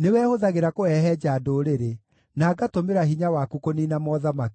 nĩwe hũthagĩra kũhehenja ndũrĩrĩ, na ngatũmĩra hinya waku kũniina mothamaki.